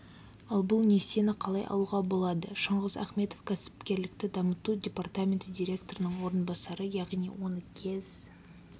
ал бұл несиені қалай алуға болады шыңғыс ахметов кәсіпкерлікті дамыту департаменті директорының орынбасары яғни оны кез